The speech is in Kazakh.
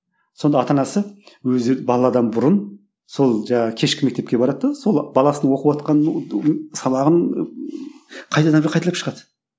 сонда ата анасы өздері баладан бұрын сол жаңағы кешкі мектепке барады да сол баласының оқыватқан сабағын қайтадан бір қайталап шығады